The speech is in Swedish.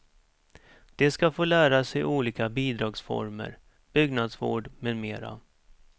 De ska få lära sig olika bidragsformer, byggnadsvård med mera.